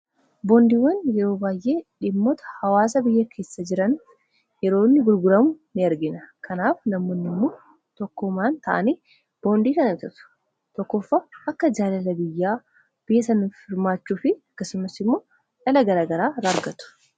boondiiwwan yeroo baay'ee dhimmoota hawaasa biyya keessa jiran yeroonni gurguramu in argina kanaaf namoonniimmoo tokkomaan ta'anii boondii kana bitatu tokkooffa akka jaalala biyyaa biyya sanif hirmaachuu fi akkasumas immoo dhala gara garaa irraa argatu.